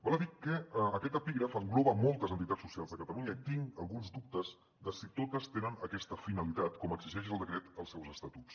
val a dir que aquest epígraf engloba moltes entitats socials de catalunya i tinc alguns dubtes de si totes tenen aquesta finalitat com exigeix el decret als seus estatuts